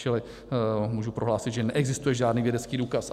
Čili můžu prohlásit, že neexistuje žádný vědecký důkaz.